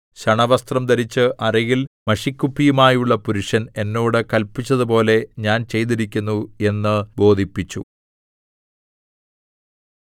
ശണവസ്ത്രം ധരിച്ച് അരയിൽ മഷിക്കുപ്പിയുമായുള്ള പുരുഷൻ എന്നോട് കല്പിച്ചതുപോലെ ഞാൻ ചെയ്തിരിക്കുന്നു എന്ന് ബോധിപ്പിച്ചു